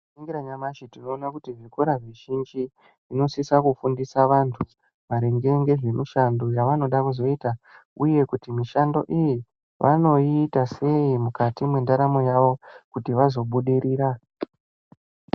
Tikaringira nyamashi tinoona kuti zvikora zvizhinji zvinosisa kufundisa vantu maringe ngezvemishando yavanoda kuzoita, uye kuti mishando iyi vanoiita sei mukati mwendaramo yavo kuti vazobudirira.